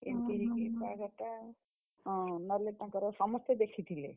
ବାହାଘରଟା, ହଁ, ନହେଲେ ତାଙ୍କର ସମସ୍ତେ ଦେଖିଥିଲେ।